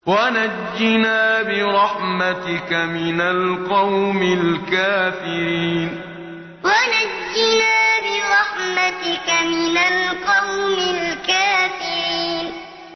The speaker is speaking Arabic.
وَنَجِّنَا بِرَحْمَتِكَ مِنَ الْقَوْمِ الْكَافِرِينَ وَنَجِّنَا بِرَحْمَتِكَ مِنَ الْقَوْمِ الْكَافِرِينَ